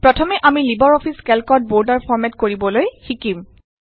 প্ৰথমে আমি LibreOffice কেল্কত বৰ্ডাৰ ফৰমেট কৰিবলৈ শিকিম